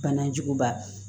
Banajuguba